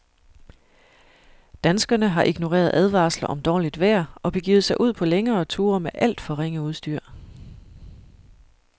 Danskerne har ignoreret advarsler om dårligt vejr og begivet sig ud på længere ture med alt for ringe udstyr.